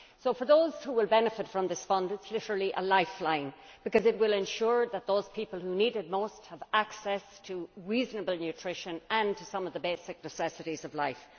For those who will benefit from this fund, it is literally a lifeline, because it will ensure that those people who need it most have access to reasonable nutrition and to some of the basic necessities of life.